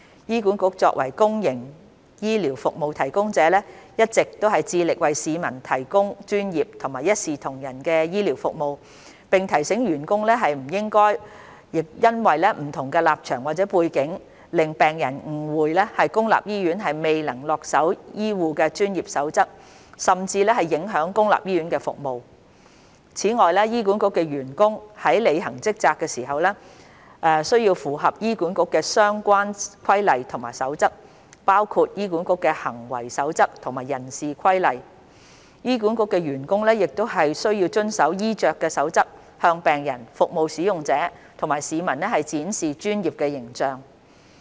醫管局作為公營醫療服務提供者，一直致力為市民提供專業及一視同仁的醫療服務，並提醒員工不應因為不同立場或背景，令病人誤會公立醫院未能恪守醫護的專業守則，甚至影響公立醫院服務。此外，醫管局的員工在履行職責時，需符合醫管局的相關規例和守則。醫管局員工亦需遵守衣着守則，向病人、服務使用者及市民展示專業的形象。